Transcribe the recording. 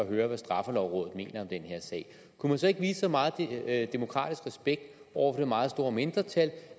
at høre hvad straffelovrådet mener om den her sag kunne man så ikke vise så meget demokratisk respekt over for det meget store mindretal